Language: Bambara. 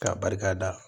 K'a barikada